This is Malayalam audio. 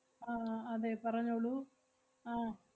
ആഹ് അതെ പറഞ്ഞോളൂ ആഹ്